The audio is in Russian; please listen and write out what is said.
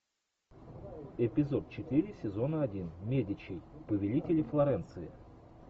эпизод четыре сезона один медичи повелители флоренции